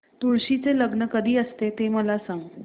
तुळशी चे लग्न कधी असते ते मला सांग